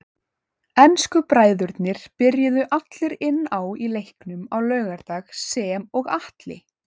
Ensku bræðurnir byrjuðu allir inn á í leiknum á laugardag sem og Atli.